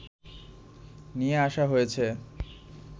নিয়ে আসা হয়েছে